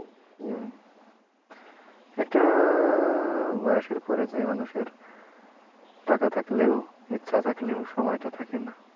হুম একটা বয়সের পরে যে মানুষের টাকা থাকলেও ইচ্ছা থাকলেও সময়টা থাকেনা।